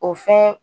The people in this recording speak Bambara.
O fɛn